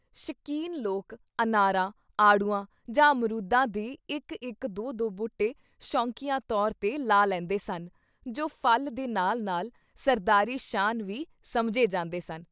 ਸ਼ਕੀਨ ਲੋਕ ਅਨਾਰਾਂ, ਆੜੂਆਂ ਜਾਂ ਅਮਰੂਦਾਂ ਦੇ ਇੱਕ ਇੱਕ ਦੋ-ਦੋ ਬੂਟੇ ਸ਼ੌਕੀਆਂ ਤੌਰ ‘ਤੇ ਲਾ ਲੈਂਦੇਂ ਸਨ ਜੋ ਫਲ਼ ਦੇ ਨਾਲ਼ ਨਾਲ਼ ਸਰਦਾਰੀ ਸ਼ਾਨ ਵੀ ਸਮਝੇ ਜਾਂਦੇ ਸਨ।